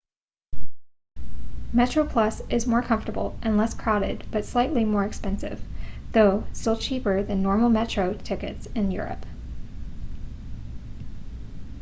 metroplus is more comfortable and less crowded but slightly more expensive though still cheaper than normal metro tickets in europe